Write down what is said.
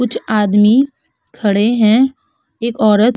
कुछ आदमी खड़े हैं एक औरत --